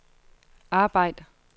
arbejd